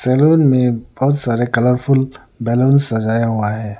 Salon में बहुत सारे कलरफुल बैलून सजाया हुआ है।